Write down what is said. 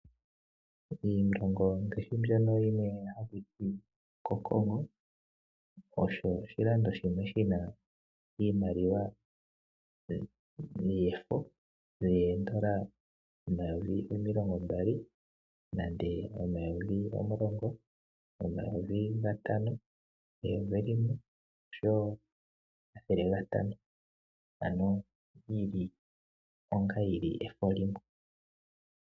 Iilongo ngaashi yimwe mbyono hakuti okoCongo osho oshilando shono shina iimaliwa yomafo yoondola omayovi omilongo mbali, omayovi gatano, omulongo eyovi limwe oshowo omathele gatatu ano yili onga efo limwe.